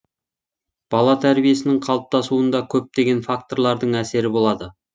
бала тәрбиесінің қалыптасуында көптеген факторлардың әсері болады